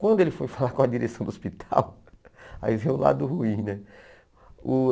Quando ele foi falar com a direção do hospital, aí veio o lado ruim, né? Uh